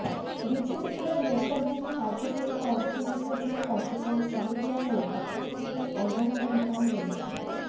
BJP ଦ୍ୱାରା ଦେଶବ୍ୟାପୀ ବାଜପେୟୀଙ୍କ ଅସ୍ଥି ବିସର୍ଜନ କାର୍ଯ୍ୟକ୍ରମ ଚାଲିଥିବାବେଳେ ପ୍ରଥମଥର ପାଇଁ ଅଣ୍ଡାମାଡ଼ ଘଟଣା ହୋଇଛି